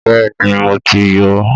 Bẹ́ẹ̀ni mo ti yọ ọ́